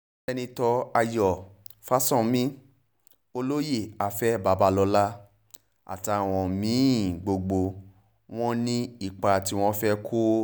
sẹ́ńtítọ́ ayọ̀ fásánmi olóyè afẹ́ babalọ́la àtàwọn mí-ín gbogbo wọn ni wọ́n ní ipa tí wọ́n fẹ́ẹ́ kó